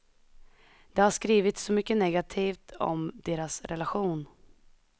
Det har skrivits så mycket negativt om deras relation.